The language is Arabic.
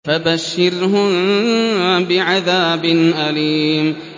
فَبَشِّرْهُم بِعَذَابٍ أَلِيمٍ